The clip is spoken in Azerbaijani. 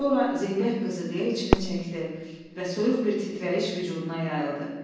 Sonra Zeybək qızı deyə içini çəkdi və soyuq bir titrəyiş vücuduna yayıldı.